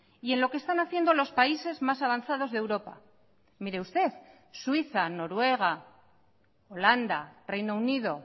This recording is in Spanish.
y en lo que están haciendo los países más avanzados de europa mire usted suiza noruega holanda reino unido